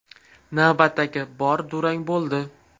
Navbatdagi bor durang bo‘ldi.